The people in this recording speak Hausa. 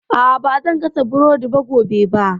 A'a, ba zan gasa burodi gobe ba